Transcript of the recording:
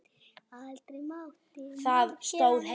Aldrei mátti maður gera neitt.